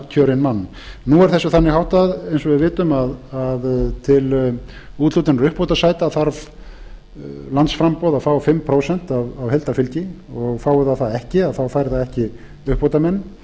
mann nú er þessu þannig háttað eins og við vitum að til úthlutunar uppbótarsæta þarf landsframboð að fá fimm prósent af heildarfylgi og fái það það ekki fær það ekki uppbótarmenn